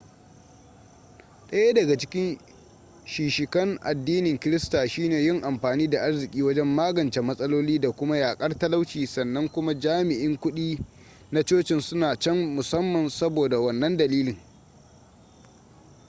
daya daga cikin shishikan addinin krista shine yin amfani da arziki wajen magance matsaloli da kuma yakar talauci sannan kuma jami'in kudi na cocin suna can musamman saboda wannan dalilin